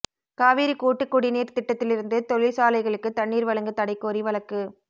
காவிரி கூட்டுக் குடிநீா் திட்டத்திலிருந்து தொழிற்சாலைகளுக்கு தண்ணீா் வழங்க தடை கோரி வழக்கு